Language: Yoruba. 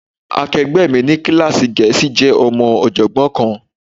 Akẹgbẹ́ mi ní kíláàsì Gẹ̀ẹ́sì jẹ́ ọmọ ọ̀jọ̀gbọ́n kan